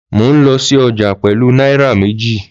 Mò ń lọ sí ọjà pẹ̀lú náírà méjì.